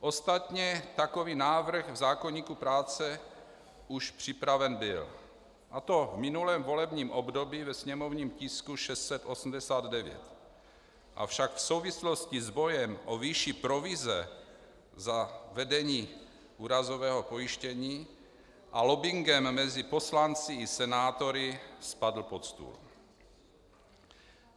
Ostatně takový návrh v zákoníku práce už připraven byl, a to v minulém volebním období ve sněmovním tisku 689, avšak v souvislosti s bojem o výši provize za vedení úrazového pojištění a lobbingem mezi poslanci i senátory spadl pod stůl.